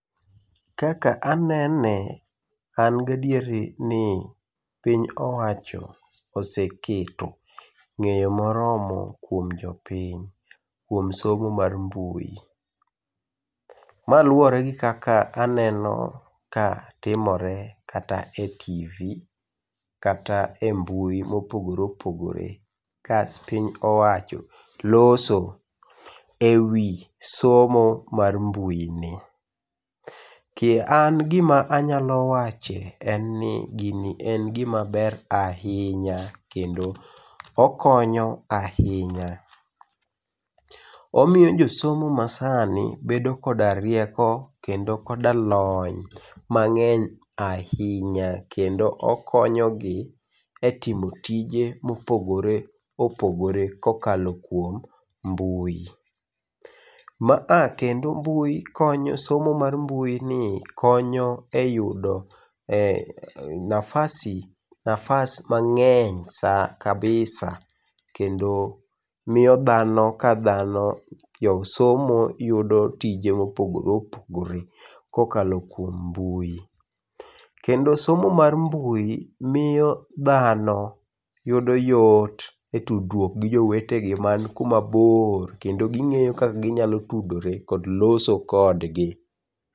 Kaka anene, an gadieri ni piny owacho oseketo ng'eyo moromo kuom jopiny kuom somo mar mbui. Ma luwore gi kaka aneno ka timore kata e tv, kata embui mopogore opogore ka piny owacho loso ewi somo mar mbui ni. Ki an gima anyalo wache en ni gini en gimaber ahinya kendo okonyo ahinya. Omiyo jo somo masani bedo koda rieko kendo koda lony mang'eny ahinya kendo okonyogi etimo tije mopogore opogore kokalo kuom mbui. Ma a kendo mbui konyo somo mar mbui ni konyo eyudo e nafasi, nafas mang'eny sa kabisa kendo miyo dhano kadhano josomo yudo tije mopogore opogore kokalo kuom mbui. Kendo somo mar mbui miyo dhano yudo yot etudruok gi jowetegi man kuma bor kendo ging'eyo kaka ginyalo tudore kod loso kodgi.